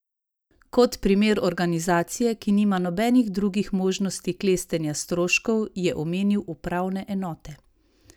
Kot primer organizacije, ki nima nobenih drugih možnosti klestenja stroškov, je omenil upravne enote.